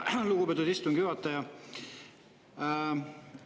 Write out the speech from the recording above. Aitäh, lugupeetud istungi juhataja!